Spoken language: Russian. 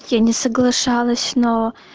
я не соглашалась на